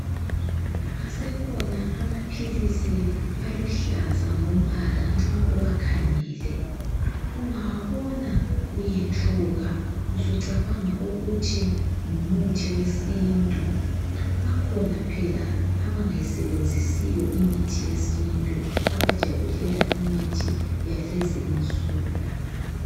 Asekhona amaphilisi aluhlaza ngombala nxa uwakhangele ungawabona uyethuka usucabanga ukuthi ngumuthi yesintu bakhona abangayisebenzisiyo imithi yesintu abajabulela imithi yalezinsuku.